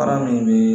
Baara min bɛ